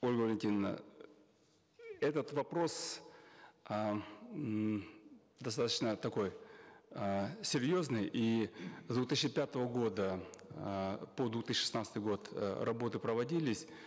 ольга валентиновна этот вопрос ааа ммм достаточно такой эээ серьезный и с две тысячи пятого года эээ по две тысячи шестнадцатый год э работы проводились